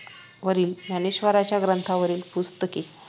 वरील ज्ञानेश्वरांच्या ग्रंथावरील पुस्तके